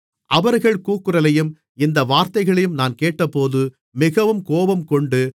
அவர்கள் கூக்குரலையும் இந்த வார்த்தைகளையும் நான் கேட்டபோது மிகவும் கோபங்கொண்டு